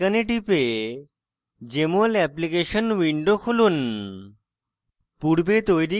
jmol icon টিপে jmol application window খুলুন